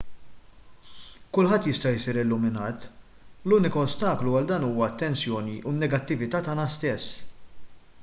kulħadd jista' jsir illuminat l-unika ostaklu għal dan huwa t-tensjoni u n-negattività tagħna stess